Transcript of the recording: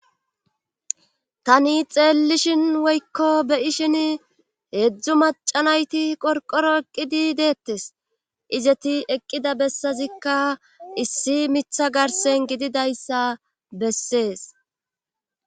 Tani xeellishin woykko beyi shin heedzdzu macanayti qorqoro eqqidi deettes izeti eqqida bessazikka issi mitha garsen gididayssa bessees